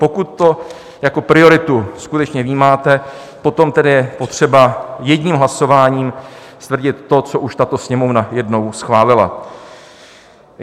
Pokud to jako prioritu skutečně vnímáte, potom tedy je potřeba jedním hlasováním stvrdit to, co už tato Sněmovna jednou schválila.